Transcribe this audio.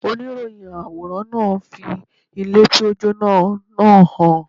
Oníròyìn àwòrán náà fi àwòrán ilé tí ó jóná náà hàn.